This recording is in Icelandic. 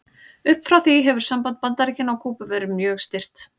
Upp frá því hefur samband Bandaríkjanna og Kúbu verið mjög stirt.